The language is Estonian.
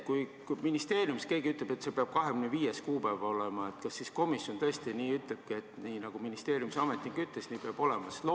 Kui ministeeriumis keegi ütleb, et see peab olema 25. kuupäev, kas siis komisjon tõesti ütlebki, et nii, nagu ministeeriumi ametnik ütles, nii peab olema?